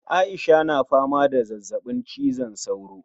Aisha na fama da ciwon zazzabin cizon sauro